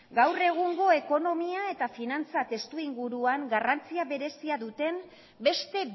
gaur egungo ekonomia eta finantza testuinguruan garrantzia berezia duten beste